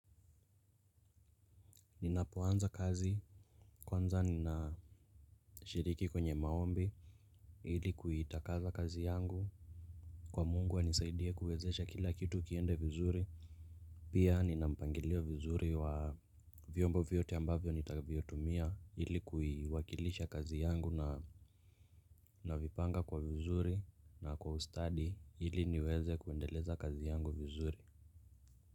Ninapoanza kazi kwanza nina shiriki kwenye maombi ili kuitakaza kazi yangu kwa mungu anisaidie kuwezesha kila kitu kiende vizuri. Pia nina mpangilio vizuri wa vyombo vyote ambavyo nitavyotumia ili kuiwakilisha kazi yangu na navipanga kwa vizuri na kwa ustadi ili niweze kuendeleza kazi yangu vizuri.